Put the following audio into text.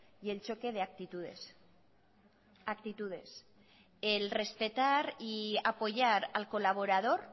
y el choque de actitudes actitudes el respetar y apoyar al colaborador